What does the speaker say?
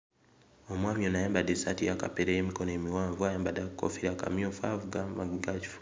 Omwami ono ayambadde essaati eya kapere ey'emikono emiwanvu ayambadde akakoofiira akamyufu avuga maanyi ga kifu.